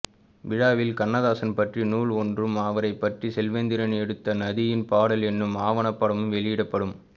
விழாவில் வண்ணதாசன் பற்றிய நூல் ஒன்றும் அவரைப்பற்றி செல்வேந்திரன் எடுத்த நதியின் பாடல் என்னும் ஆவணப்படமும் வெளியிடப்படும்